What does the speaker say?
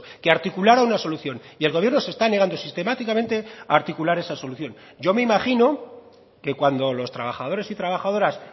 que articulara una solución y el gobierno se está negando sistemáticamente a articular esa solución yo me imagino que cuando los trabajadores y trabajadoras